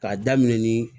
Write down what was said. K'a daminɛ ni